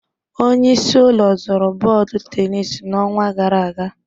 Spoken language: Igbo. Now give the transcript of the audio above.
Onye isi ụlọ zụrụ bọọdụ tenis n'ọnwa gara aga